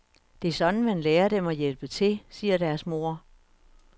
Det er sådan, man lærer dem at hjælpe til, siger deres mor.